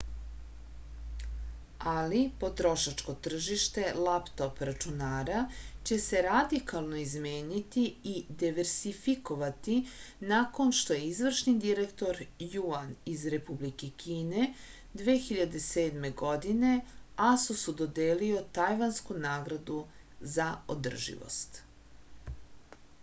ali potrošačko tržište laptop računara će se radikalno izmeniti i diversifikovati nakon što je izvršni direktor juan iz republike kine 2007. godine asus-u dodelio tajvansku nagradu za održivost